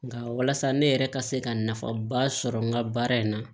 Nka walasa ne yɛrɛ ka se ka nafaba sɔrɔ n ka baara in na